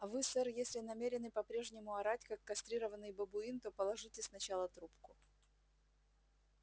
а вы сэр если намерены по-прежнему орать как кастрированный бабуин то положите сначала трубку